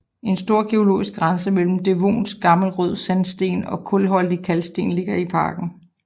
En stor geologisk grænse mellem devonsk gammel rød sandsten og kulholdig kalksten ligger i parken